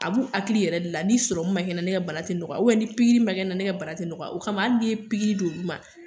A b'u hakili yɛrɛ de la ni man kɛ n na ne kɛ bana tɛ nɔgɔya ni pikiri man kɛ n na ne kɛ bana tɛ nɔgɔya o kama hali nin ye pikiri d'olu ma